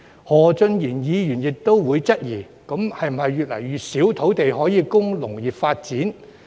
何俊賢議員亦會質疑，會否越來越少土地供農業發展？